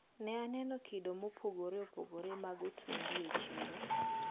Ne aneno kido mopogre opogre mag otungu e chiro.